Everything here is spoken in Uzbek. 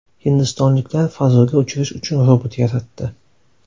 Hindistonliklar fazoga uchirish uchun robot yaratdi.